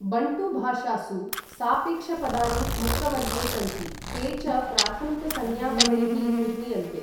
Bantu भाषासु सापेक्षपदानि मुक्तवर्गे सन्ति, ते च प्राथमिक संज्ञापदैः निर्मीयन्ते।